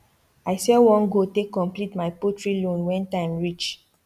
i sell one goat take complete my poultry loan when time reach